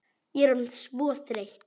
Ég er orðin svo þreytt.